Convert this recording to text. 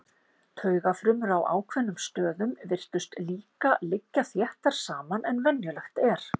Taugafrumur á ákveðnum stöðum virtust líka liggja þéttar saman en venjulegt er.